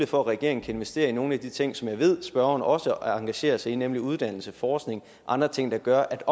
for at regeringen kan investere i nogle af de ting som jeg ved spørgeren også engagerer sig i nemlig uddannelse forskning og andre ting der gør at